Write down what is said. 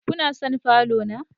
Kuna son falo na?